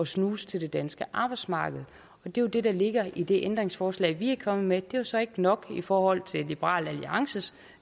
snuse til det danske arbejdsmarked og det er jo det der ligger i det ændringsforslag vi er kommet med det er så ikke nok i forhold til liberal alliances